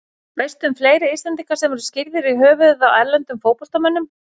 Veistu um fleiri Íslendinga sem eru skírðir í höfuðið á erlendum fótboltamönnum?